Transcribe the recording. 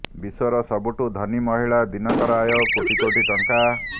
ବିଶ୍ୱର ସବୁଠୁ ଧନୀ ମହିଳା ଦିନକର ଆୟ କୋଟି କୋଟି ଟଙ୍କା